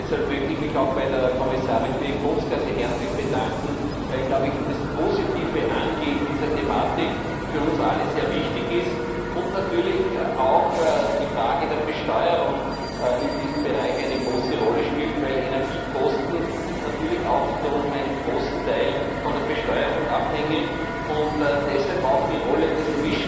Deshalb möchte ich mich auch bei der Kommissarin Bieńkowska sehr herzlich bedanken, weil das positive Angehen dieser Thematik für uns alle sehr wichtig ist und natürlich auch die Frage der Besteuerung in diesem Bereich eine große Rolle spielt, weil Energiekosten natürlich auch zu einem großen Teil von der Besteuerung abhängen und deshalb auch die Rolle des